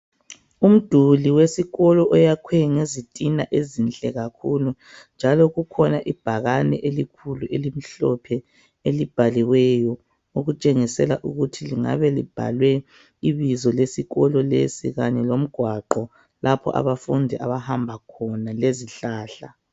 Umduli wesikolo oyakhe ngezitina ezihle kakhulu. Njalo kukhona ibhakane elikhulu elimhlophe elibhaliweyo elitshengisela ukuthi kungabe kubhalwe ibizo lesikolo lesi kanye lomgwaqo lapho abafundi abahamba khona lezihlahla.